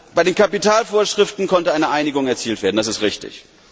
Bei den Kapitalvorschriften konnte eine Einigung erzielt werden, das ist richtig.